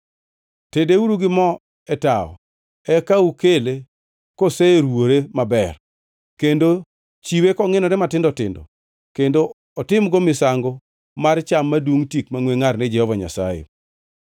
Tedeuru gi mo e tawo, eka ukele koseruwore maber, kendo chiwe kongʼinjore matindo tindo, kendo otimgo misango mar cham madungʼ tik mangʼwe ngʼar ni Jehova Nyasaye.